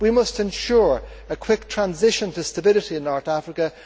We must ensure a quick transition to stability in North Africa.